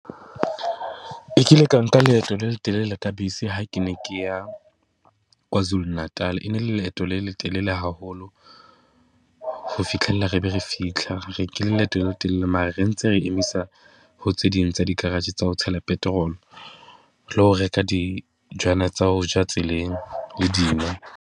Ke kile ka nka leeto le letelele ka bese ha ke ne ke ya Kwazulu Natal. E ne le leeto le letelele haholo ho fitlhella re be re fitlha. Re nkile leeto le letelele mare re ntse re emisa ho tse ding tsa di-garage tsa ho tshela petrol-o, le ho reka tsa ho ja tseleng le dino.